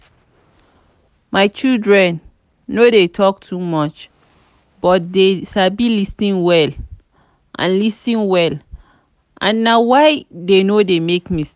my children no dey talk too much but dey sabi lis ten well and lis ten well and na why dey no dey make mistake